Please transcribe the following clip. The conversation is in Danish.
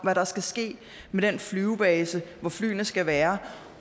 hvad der skal ske med den flybase hvor flyene skal være